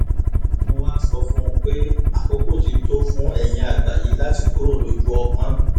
mo wáá sọ fún un pé àkókò ti tó fún eyín àgbà yìí láti kúrò lójú ọpọ́n